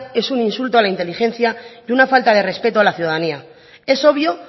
es un insulto a la inteligencia y una falta de respeto a la ciudadanía es obvio